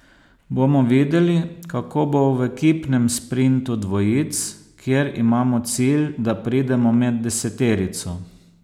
Bomo videli, kako bo v ekipnem sprintu dvojic, kjer imamo cilj, da pridemo med deseterico.